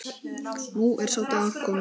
Nú er sá dagur kominn.